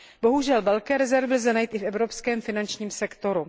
Bohužel velké rezervy lze najít i v evropském finančním sektoru.